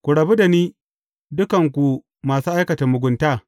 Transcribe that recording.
Ku rabu da ni, dukan ku masu aikata mugunta!’